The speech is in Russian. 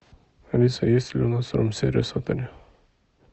алиса есть ли у нас рум сервис в отеле